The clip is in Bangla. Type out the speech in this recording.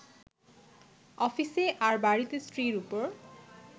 অফিসে, আর বাড়িতে স্ত্রীর ওপর